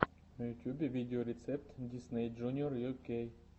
в ютубе видеорецепт дисней джуниор ю кей